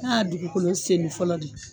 N'a y'a dugukolo senni fɔlɔ de